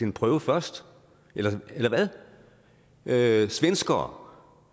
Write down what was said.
en prøve først eller hvad svenskere